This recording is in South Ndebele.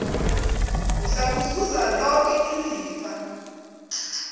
uzakuzuza loke ilifa